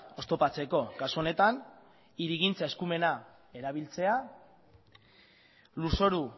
oztopatzeko kasu honetan hirigintza eskumena erabiltzea lurzoru